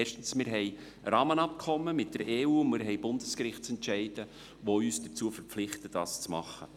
Erstens haben wir ein Rahmenabkommen mit der Europäischen Union (EU) und Bundesgerichtsentscheide, die uns dazu verpflichten, das zu tun.